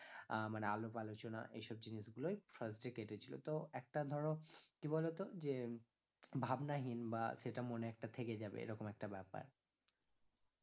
আহ মানে আলাপ আলোচনা এইসব জিনিগুলোই first day কেটেছিল তো একটা ধরো কি বলতো যে ভাবনাহীন বা সেটা মনে একটা থেকে যাবে এরকম একটা ব্যাপার